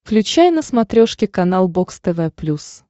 включай на смотрешке канал бокс тв плюс